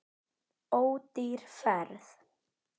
Ódýr ferð.